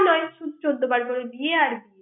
কিছু নয় চৌদো বার করে বিয়ে আর বিয়ে